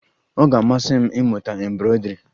Ọ ga-amasị m ịmụta embroidri